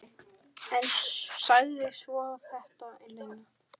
En sagði svo þetta, Lena.